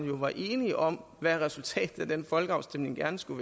jo enige om hvad resultatet af den folkeafstemning gerne skulle